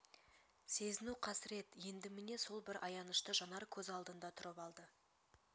сезіну қасырет енді міне сол бір аянышты жанар көз алдында тұрып алды